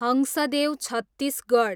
Hasdeo Chhattisgarh